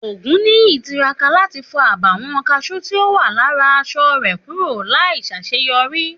Ògúnníyì tiraka láti fo àbàwón kasú tí o wà lára aṣọ rẹ kúrò láì ṣaṣeyọri